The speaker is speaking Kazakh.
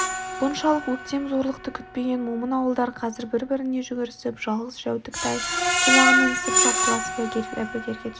бұншалық өктем зорлықты күтпеген момын ауылдар қазір біріне-бірі жүгірісіп жалғыз-жәутік тай-тулағын мінісіп шапқыласып әбігерге түсті